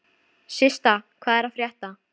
Systa, hvað er að frétta?